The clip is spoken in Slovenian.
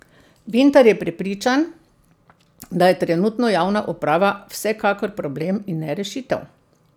Vintar je prepričan, da je trenutno javna uprava vsekakor problem in ne rešitev.